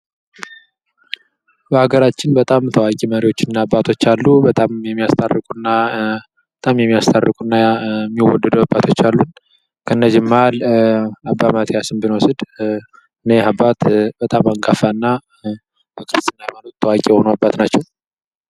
በአገራችን በጣም ታዋቂ መሪዎችና አባቶች አሉ። በጣም የሚያስታርቁና የሚወደዱ አባቶች አሉ። ከእነዚህም መሀል አባ ማቲያስን ብንወስድ እኚህ አባትህ በጣም አንጋፋና ታዋቂ የሆኑ አባት ናቸው።